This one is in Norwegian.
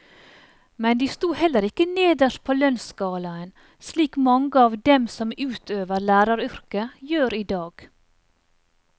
Men de sto heller ikke nederst på lønnsskalaen, slik mange av dem som utøver læreryrket, gjør i dag.